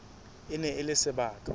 e ne e le sebaka